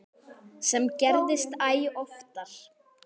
Sem gerist æ oftar.